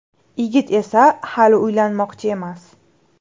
Yigit esa hali uylanmoqchi emas.